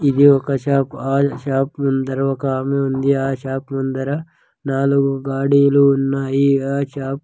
ఇది ఒక షాప్ ఆ షాప్ ముందర ఒక ఆమె ఉంది ఆ షాప్ ముందర నాలుగు గాడీలు ఉన్నాయి ఆ షాప్ .